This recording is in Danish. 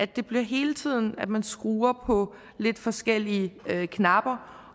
det bliver hele tiden sådan at man skruer på lidt forskellige knapper